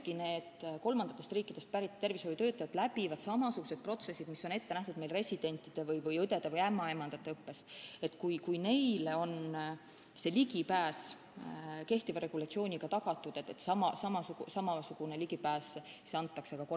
Ka need kolmandatest riikidest pärit tervishoiutöötajad läbivad suures osas samasugused protsessid, mis on ette nähtud meie residentide, õdede ja ämmaemandate õppes, ja kui neile on see ligipääs kehtiva regulatsiooniga tagatud, siis peab see olema antud ka kolmandatest riikidest pärit tervishoiutöötajatele.